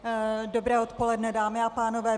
Dobré odpoledne, dámy a pánové.